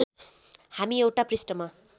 हामी एउटा पृष्ठमा